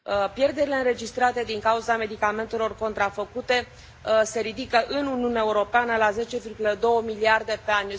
Pierderile înregistrate din cauza medicamentelor contrafăcute se ridică în Uniunea Europeană la 10,2 miliarde pe an.